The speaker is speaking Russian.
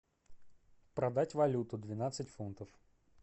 продать валюту двенадцать фунтов